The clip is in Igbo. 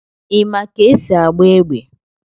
Ị ma ka esi agba égbè?